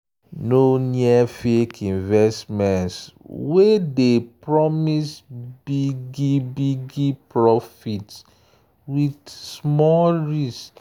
no near fake investments wey dey promise big profit with small risk.